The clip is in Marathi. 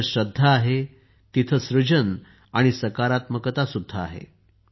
जिथे श्रद्धा आहे तिथे सृजन आणि सकारात्मकता सुद्धा आहे